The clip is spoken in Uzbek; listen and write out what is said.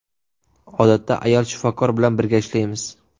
Odatda ayol shifokor bilan birga ishlaymiz.